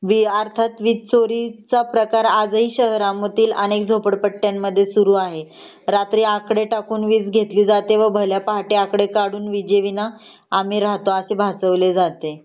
अर्थात वीज चोरीचा प्रकार अनेक शहरामधील झोपडपट्टीच्या भागांमध्ये सुरू आहे . रात्री आकडे टाकून वीज घेतली जाते व भल्या पहाटे आकडे कडून विजे विना आम्ही राहतो असे भासवले जाते